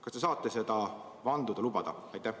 Kas te saate seda vanduda?